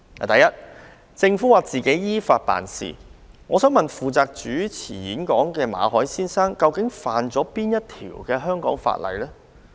第一，政府指當局只是依法辦事。負責主持演講的馬凱先生，究竟觸犯哪條香港法例？